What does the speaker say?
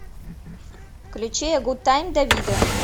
включи э гуд тайм давидо